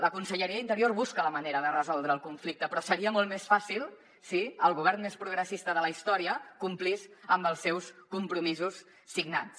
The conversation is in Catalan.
la conselleria d’interior busca la manera de resoldre el conflicte però seria molt més fàcil si el govern més progressista de la història complís amb els seus compromisos signats